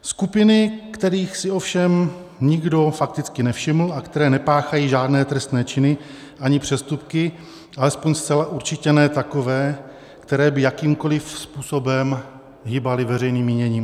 Skupiny, kterých si ovšem nikdo fakticky nevšiml a které nepáchají žádné trestné činy ani přestupky, alespoň zcela určitě ne takové, které by jakýmkoliv způsobem hýbaly veřejným míněním.